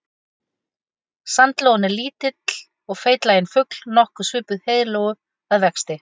Sandlóan er lítill og feitlaginn fugl nokkuð svipuð heiðlóu að vexti.